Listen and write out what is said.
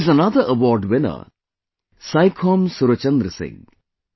There is another award winner Saikhom Surchandra Singh